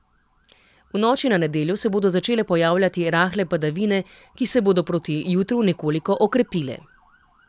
V noči na nedeljo se bodo začele pojavljati rahle padavine, ki se bodo proti jutru nekoliko okrepile.